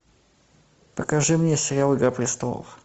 покажи мне сериал игра престолов